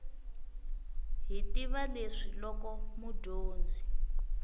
hi tiva leswi loko mudyondzi